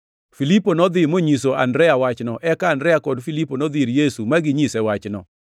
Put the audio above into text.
Filipo nodhi monyiso Andrea wachno; eka Andrea kod Filipo nodhi ir Yesu ma ginyise wachno.